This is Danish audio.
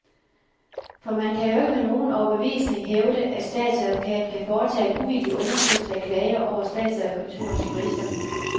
For man kan jo ikke med nogen overbevisning hævde, at statsadvokaten kan foretage en uvildig undersøgelse af klager over statsadvokaturens jurister.